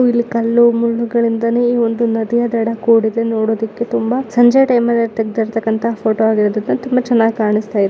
ಕಲ್ಲು ಮುಳ್ಳುಗಳಿಂದಲೇ ಈ ಒಂದು ನದಿಯ ದಡ ಕೂಡಿದೆ. ನೋಡುವುದಕ್ಕೆ ತುಂಬಾ ಸಂಜೆಯ ಟೈಮಲ್ಲಿ ತೆಗೆದಿರುವಂತ ಫೋಟೋ ಆಗಿರೋದು ತುಂಬಾ ಚೆನ್ನಾಗಿ ಕಾಣಿಸ್ತಾ ಇದೆ .